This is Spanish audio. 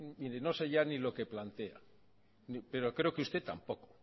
mire no sé ya ni lo que plantea pero creo que usted tampoco